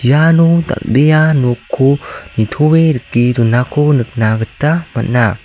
iano dal·bea nokko nitoe rike donako nikna gita man·a.